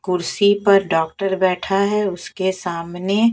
कुर्सी पर डॉक्टर बैठा है उसके सामने--